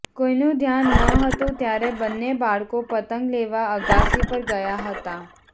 કોઈનું ધ્યાન ન હતું ત્યારે બંને બાળકો પતંગ લેવા અગાસી પર ગયા હતા